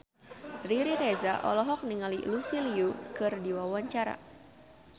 Riri Reza olohok ningali Lucy Liu keur diwawancara